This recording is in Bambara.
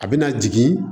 A bɛna jigin